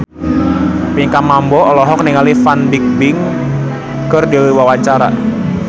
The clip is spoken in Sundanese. Pinkan Mambo olohok ningali Fan Bingbing keur diwawancara